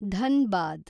Dhanbad